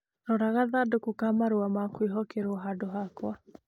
Rora gathandũkũ ka marũa ma kwĩhokerũo handũ hakwa